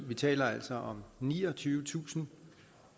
vi taler altså om niogtyvetusind